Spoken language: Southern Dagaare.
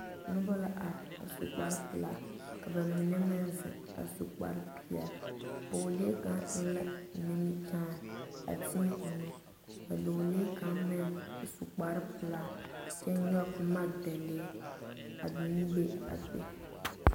Noba la are a su kparre pelaa ka ba mine meŋ zeŋ a su kparre peɛle pɔgelee kaŋ eŋ la nimikyaani a teɛ o nu ka dɔlee kaŋ meŋ su kparre pelaa kyɛ nyɔge boma dɛne a zeŋ ne a be.